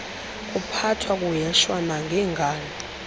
kuphathwa kuheshwa nangengalo